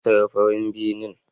Na siya farin benen.